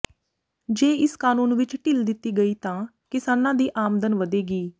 ਜੇ ਇਸ ਕਾਨੂੰਨ ਵਿਚ ਢਿੱਲ ਦਿੱਤੀ ਗਈ ਤਾਂ ਕਿਸਾਨਾਂ ਦੀ ਆਮਦਨ ਵਧੇਗੀ